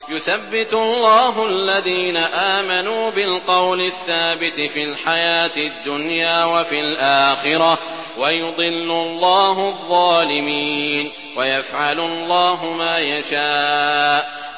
يُثَبِّتُ اللَّهُ الَّذِينَ آمَنُوا بِالْقَوْلِ الثَّابِتِ فِي الْحَيَاةِ الدُّنْيَا وَفِي الْآخِرَةِ ۖ وَيُضِلُّ اللَّهُ الظَّالِمِينَ ۚ وَيَفْعَلُ اللَّهُ مَا يَشَاءُ